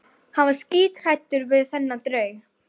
Hann var skíthræddur við þennan draug.